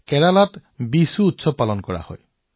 এই সময়তে কেৰালাই সুন্দৰ বিশু উৎসৱ উদযাপন কৰে